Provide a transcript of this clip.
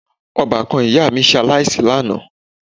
Ọbàkan ìyá mi ṣe aláìsí lánàá